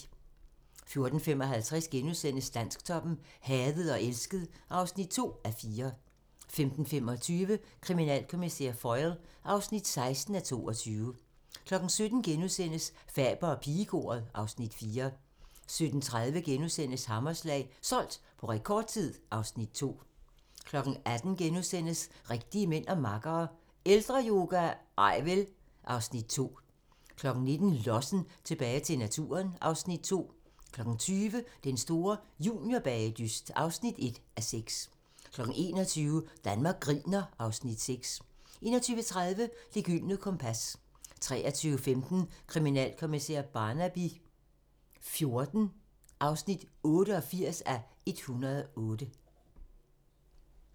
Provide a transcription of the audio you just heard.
14:55: Dansktoppen: Hadet og elsket (2:4)* 15:25: Kriminalkommissær Foyle (16:22) 17:00: Faber og pigekoret (Afs. 4)* 17:30: Hammerslag - solgt på rekordtid (Afs. 2)* 18:00: Rigtige mænd og makkere - Ældreyoga? Nej vel! (Afs. 2)* 19:00: Lossen - tilbage til naturen (Afs. 2) 20:00: Den store juniorbagedyst (1:6) 21:00: Danmark griner (Afs. 6) 21:30: Det gyldne kompas 23:15: Kriminalkommissær Barnaby XIV (88:108)